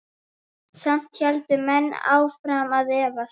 Samt héldu menn áfram að efast.